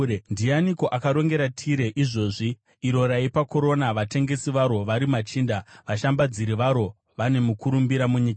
Ndianiko akarongera Tire izvozvi, iro raipa korona, vatengesi varo vari machinda, vashambadziri varo vane mukurumbira munyika?